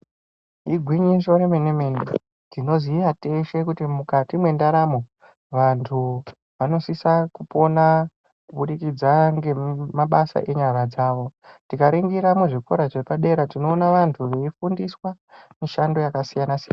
Igwinyiso yemene mene tinoziya kuti teshe mukati mendaramo antu anosise kupona kubudikidza ngemabasa enyara dzavo ,. Tikaningira muzvikora zvepadera tinoone vantu vaifundiswa mishando yakasiyana siyana